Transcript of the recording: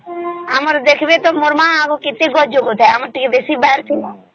ଆମର ମା ତା ଟିକେ ବେଶୀ ଖତ ଦେଉଥାଏ ଆମର ଟିକେ ଦେଶୀ ଖାତ ଦେଇଥିଲୁ